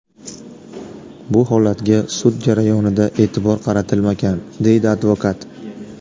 Bu holatga sud jarayonida e’tibor qaratilmagan”, deydi advokat.